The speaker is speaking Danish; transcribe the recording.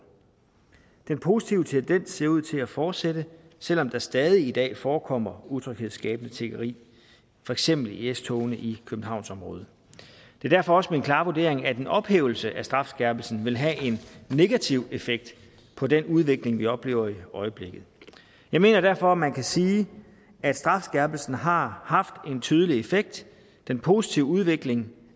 den positive tendens ser ud til at fortsætte selv om der stadig i dag forekommer utryghedsskabende tiggeri for eksempel i s togene i københavnsområdet det er derfor også min klare vurdering at en ophævelse af strafskærpelsen vil have en negativ effekt på den udvikling vi oplever i øjeblikket jeg mener derfor at man kan sige at strafskærpelsen har haft en tydelig effekt den positive udvikling